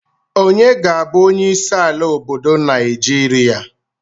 Onye ga-abụ onyeisi ala obodo Naịjirịa.